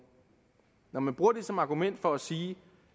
når man bruger det som argument for at sige